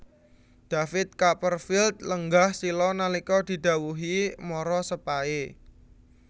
David Copperfield lenggah sila nalika didhawuhi marasepahe